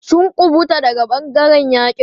Sun ƙubuta daga ɓangaren yaƙi.